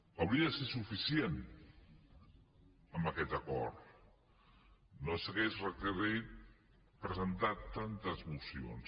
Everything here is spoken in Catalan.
hauria de ser suficient amb aquest acord no s’hauria requerit presentar tantes mocions